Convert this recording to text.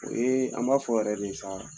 O ye an b'a fɔ yɛrɛ de sa